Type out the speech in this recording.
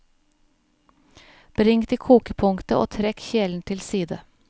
Bring til kokepunktet og trekk kjelen til side.